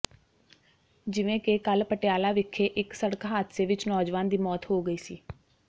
ਜਿਵੇਂ ਕਿ ਕੱਲ ਪਟਿਆਲਾ ਵਿੱਖੇ ਇੱਕ ਸੜਕ ਹਾਦਸੇ ਵਿੱਚ ਨੌਜਵਾਨ ਦੀ ਮੌਤ ਹੋ ਗਈ ਸੀ